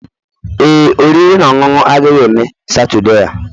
Ee, oriri na ọṅụṅụ agaghị eme Saturday a.